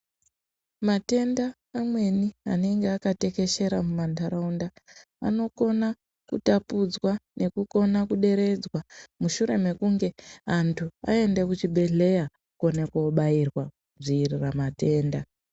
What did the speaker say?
Matenda amweni anenge akatekeshera mumantaraunda anokona kutapudzwa nekukone kuderedzwa mushure mekunge antu aenda kuchibhedhleya kone kobairwa kudziirira matenda.